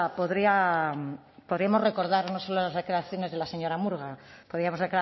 podríamos recordar no solo las declaraciones de la señora murga podríamos